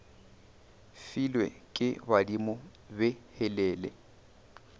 filwe ke badimo be helele